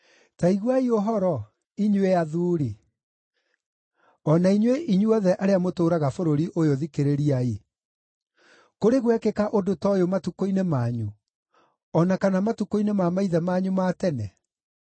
Ta iguai ũhoro, inyuĩ athuuri; o na inyuĩ inyuothe arĩa mũtũũraga bũrũri ũyũ thikĩrĩriai. Kũrĩ gwekĩka ũndũ ta ũyũ matukũ-inĩ manyu, o na kana matukũ-inĩ ma maithe manyu ma tene?